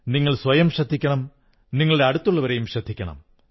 സ്വന്തക്കാരെ ശ്രദ്ധിക്കണം സ്വയവും ശ്രദ്ധിക്കണം